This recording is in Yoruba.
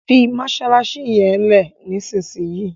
fí masalasi yén lẹ nísìsiyìí!